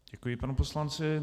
Děkuji panu poslanci.